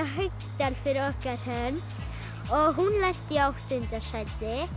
Haukdal fyrir okkar hönd og hún lenti í áttunda sæti